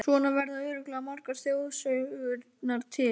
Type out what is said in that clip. Svona verða örugglega margar þjóðsögurnar til.